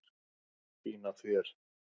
Fín af þér.